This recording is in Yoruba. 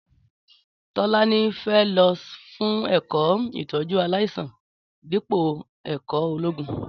Tọlàní fẹ ló fún ẹkọ ìtọjú àláisàn dípò ẹkọ ògún.